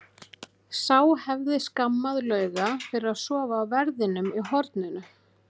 Sá hefði skammað Lauga fyrir að sofa á verðinum í horninu!